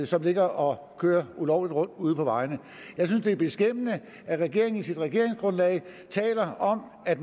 som ligger og kører ulovligt rundt ude på vejene jeg synes det er beskæmmende at regeringen i sit regeringsgrundlag taler om at